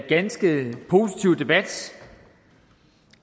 ganske positiv debat